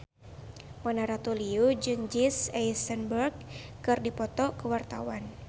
Mona Ratuliu jeung Jesse Eisenberg keur dipoto ku wartawan